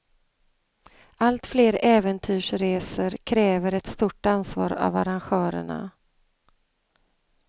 Allt fler äventyrsresor kräver ett stort ansvar av arrangörerna.